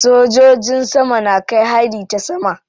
Sojojin sama na kai hari ta sama.